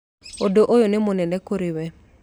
Ũndũ ũyũ nĩ mũnene kũrĩ wee.